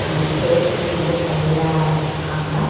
Staircase வந்து சைடுல வச்சுருக்காங்க.